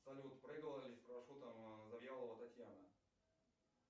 салют прыгала ли с парашютом завьялова татьяна